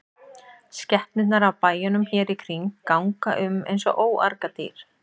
Skepnurnar af bæjunum hér í kring ganga um eins og óargadýr.